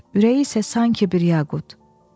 Ürəyi isə sanki bir yaqut.